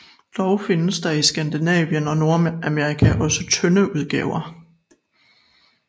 Dog findes der i Skandinavien og Nordamerika også tynde udgaver